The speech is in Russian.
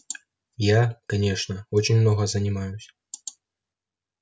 я конечно очень много занимаюсь